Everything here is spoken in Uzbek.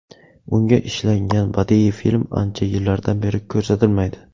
Unga ishlangan badiiy film ancha yillardan beri ko‘rsatilmaydi.